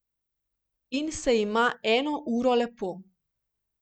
In se ima eno uro lepo.